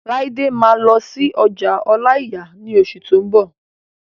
Laide máa lọ sí ọjà ọláìyà ní oṣù tó n bọ̀